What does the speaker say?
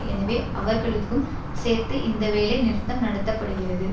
எனவே அவர்களுக்கும் சேர்த்து இந்த வேலை நிறுத்தம் நடத்த படுகிறது